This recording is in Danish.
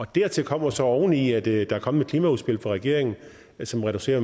dertil kommer så oveni at der er kommet et klimaudspil fra regeringen som reducerer